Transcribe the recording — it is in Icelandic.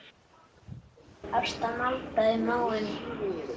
Ásta maldaði í móinn.